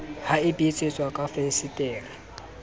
ha e betsetswa ka fensetere